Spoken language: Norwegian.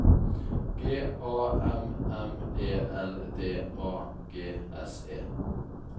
G A M M E L D A G S E